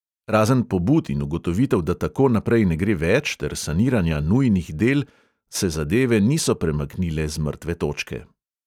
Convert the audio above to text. Razen pobud in ugotovitev, da tako naprej ne gre več ter saniranja nujnih del, se zadeve niso premaknile z mrtve točke.